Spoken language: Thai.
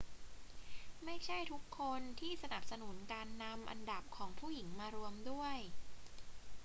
ไม่ใช่ทุกคนที่สนับสนุนการนำอันดับของผู้หญิงมารวมด้วย